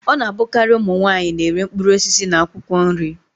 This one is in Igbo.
Ọ na-abụkari ụmụ nwaanyi na-ere mkpụrụ osisi na akwụkwọ nri.